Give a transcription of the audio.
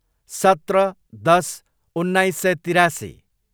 सत्र, दस, उन्नाइस सय तिरासी